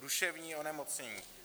Duševní onemocnění.